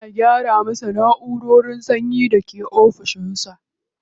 Ana gyara masa na'urar sanyin da ke ofishin sa.